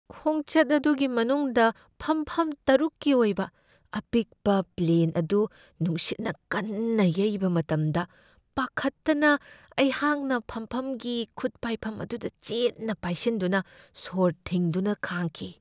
ꯈꯣꯡꯆꯠ ꯑꯗꯨꯒꯤ ꯃꯅꯨꯡꯗ ꯐꯝꯐꯝ ꯇꯔꯨꯛꯀꯤ ꯑꯣꯏꯕ ꯑꯄꯤꯛꯄ ꯄ꯭ꯂꯦꯟ ꯑꯗꯨ ꯅꯨꯡꯁꯤꯠꯅ ꯀꯟꯅ ꯌꯩꯕ ꯃꯇꯝꯗ ꯄꯥꯈꯠꯇꯅ ꯑꯩꯍꯥꯛꯅ ꯐꯝꯐꯝꯒꯤ ꯈꯨꯠ ꯄꯥꯏꯐꯝ ꯑꯗꯨꯗ ꯆꯦꯠꯅ ꯄꯥꯏꯁꯤꯟꯗꯨꯅ ꯁꯣꯔ ꯊꯤꯡꯗꯨꯅ ꯈꯥꯡꯈꯤ ꯫